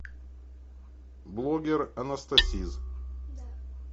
блоггер анастасиз